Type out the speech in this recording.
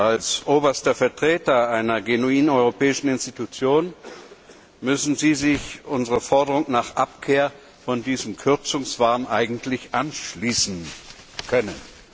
Als oberster Vertreter einer genuinen europäischen Institution müssten Sie sich unserer Forderung nach Abkehr von diesem Kürzungswahn eigentlich anschließen können.